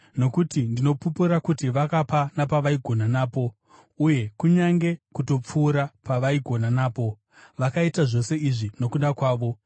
Nokuti ndinopupura kuti vakapa napavaigona napo, uye kunyange kutopfuura pavaigona napo. Vakaita zvose izvi nokuda kwavo,